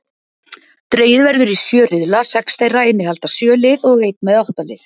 Dregið verður í sjö riðla, sex þeirra innihalda sjö lið og einn með átta lið.